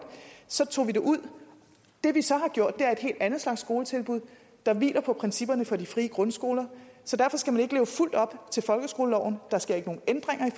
så tog vi det ud det vi så har gjort er et helt andet slags skoletilbud der hviler på principperne for de frie grundskoler så derfor skal man ikke leve fuldt op til folkeskoleloven der sker ikke nogen ændringer i